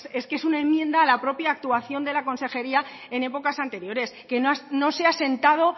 esto es una enmienda a la propia actuación de la consejería en épocas anteriores que no se ha sentado